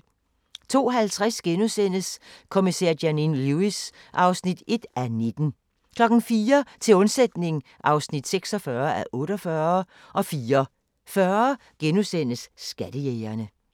02:50: Kommissær Janine Lewis (1:19)* 04:00: Til undsætning (46:48) 04:40: Skattejægerne *